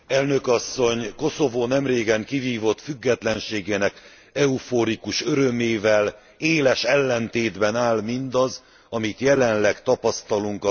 Koszovó nemrégen kivívott függetlenségének eufórikus örömével éles ellentétben áll mindaz, amit jelenleg tapasztalunk az országban.